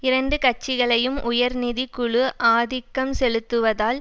இரண்டு கட்சிகளையும் உயர் நிதி குழு ஆதிக்கம் செலுத்துவதால்